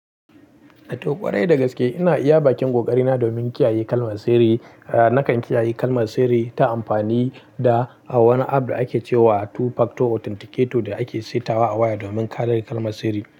To, ƙwarai da gaske ina iya bakin ƙoƙari na domin kiyaye kalmar sirri. Nakan kiyaye kalmar sirri ta amfani da wani app da ake ce wa Two Factor Authenticator da ake saita wa a waya domin ƙarar kalmar sirri.